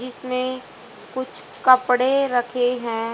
इसमें कुछ कपड़े रखे हैं।